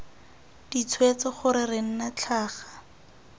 ditshwetso gore re nna tlhaga